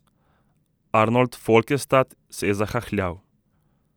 Arnold Folkestad se je zahahljal.